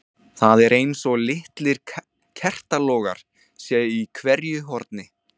Það er eins og litlir kertalogar séu í hverju horni.